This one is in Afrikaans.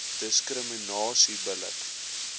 diskriminasie bil lik